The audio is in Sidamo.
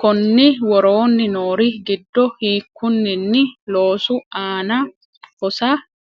konni woroonni noori giddo hiikkunninni loosu aana hosa?